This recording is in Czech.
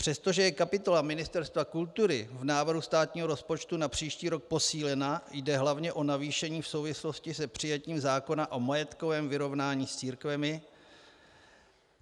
Přestože je kapitola Ministerstva kultury v návrhu státního rozpočtu na příští rok posílena, jde hlavně o navýšení v souvislosti s přijetím zákona o majetkovém vyrovnání s církvemi.